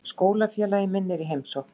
Skólafélagi minn er í heimsókn.